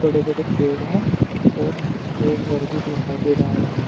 बड़े बड़े पेड़ है और एक घर भी दिखाई दे रहा है।